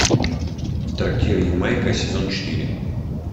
трактир ямайка сезон четыре